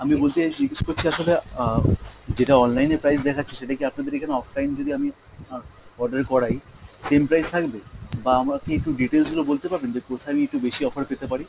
আমি বলতে চাইছি জিজ্ঞেস করছি আসলে আহ যেটা online এ price দেখাচ্ছে সেটা কি আপনাদের এখানে offline যদি আমি আহ order করাই same price থাকবে? বা আমাকে একটু details গুলো বলতে পারবেন যে কোথায় আমি একটু বেশি offer পেতে পারি?